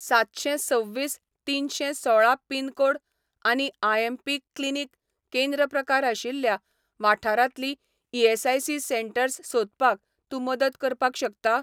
सातशें सव्वीस तिनशें सोळा पिनकोड आनी आयएमपी क्लिनीक केंद्र प्रकार आशिल्ल्या वाठारांतलीं ईएसआयसी सेटंर्स सोदपाक तूं मदत करपाक शकता?